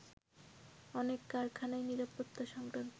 অনেক কারখানাই নিরাপত্তা সংক্রান্ত